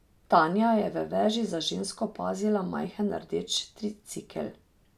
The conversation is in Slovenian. Tanja je v veži za žensko opazila majhen rdeč tricikel.